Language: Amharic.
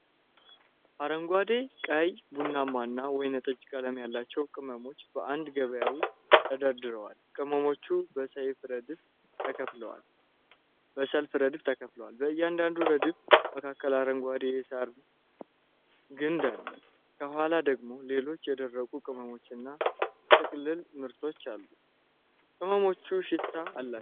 አረንጓዴ፣ ቀይ፣ ቡናማና ወይንጠጅ ቀለም ያላቸው ቅመሞች በአንድ ገበያ ውስጥ ተደርድረዋል። ቅመሞቹ በሰያፍ ረድፎች ተከፋፍለዋል። በእያንዳንዱ ረድፍ መካከል አረንጓዴ የሳር ግንድ አለ። ከኋላ ደግሞ ሌሎች የደረቁ ቅመሞችና የጥቅልል ምርቶች አሉ። ቅመሞቹ ሽታ አላቸው።